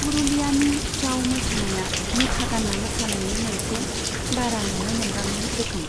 पुरुलियानि छाऊ मोसानाया मुखा गान्ना मोसानायनि मोनसे बारा नुनो मोनबाङै रोखोम।